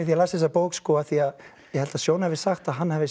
ég las þessa bók af því ég held að Sjón hafi sagt að hann hafi